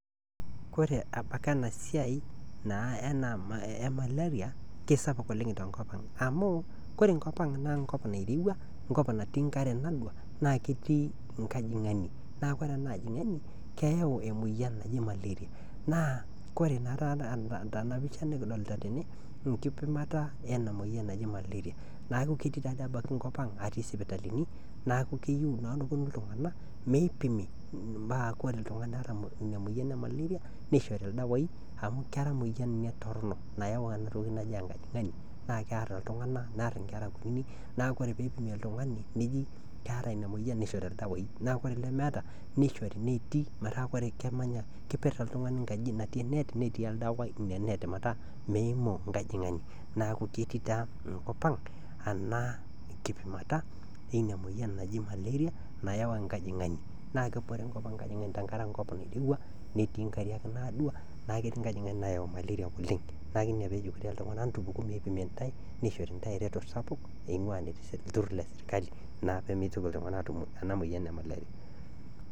Wore apake enasiai naa emaleria kisapuk oleng tenkop ang. Amu wore enkop ang naa enkop nairowua enkop natii enkare enaa naa ketii enkojangani naa wore enaa ojongani keyau emoyian naji maleria naa wore naa tena pisha nikodolita tene, enkipimata ena moyian naji maleria niaku ketii taadoi ebaki enkop ang atii sipitalini niaku keyou naa neponu iltunganak meipimi metaa wore oltungani oota inamoyian ee maleria neishori oldawai amu kera enamoyian torono, nayau enatoki naji enkojangani naa kiar iltunganak niar inkera kuninik, niaku wore pee ipimi oltungani neji keeta inamoyian neishori oldawai, naa wore lemeeta neishori neeti ,metaa wore kemanya ,keper oltungani enkaji natii enet netii oldawai ina net metaa meimu enkojangani. Niaku ketii taa enkop enaa kipimata ina moyian naji maleria nayau enkojangani naa kebore enkop ang enkare enkop naa enkop nairowua netii inkariak naadua niaku ketii enkojangani nayau maleria oleng niaku inaa peejokini iltunganak etupiku pee epimi intaye neishori intaye eretoto sapuk neingua naa ele turur lee serikali naa pee mitoki iltunganak atum ena moyian emaleria.